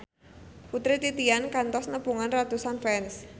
Putri Titian kantos nepungan ratusan fans